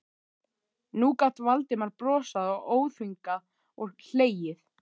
Nú gat Valdimar brosað óþvingað og hlegið.